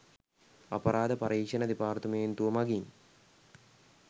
අපරාධ පරීක්‍ෂණ දෙපාර්තමේන්තුව මගින්